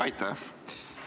Aitäh!